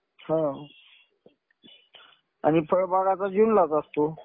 हा. आणि फळबागाचा तर जूनलाच असतो.